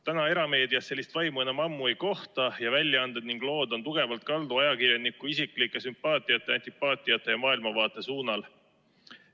Täna erameedias sellist vaimu enam ammu ei kohta ning väljaanded ja lood on tugevalt kaldu ajakirjaniku isiklike sümpaatiate ja antipaatiate ja maailmavaate suunal.